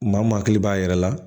Maa mun hakili b'a yɛrɛ la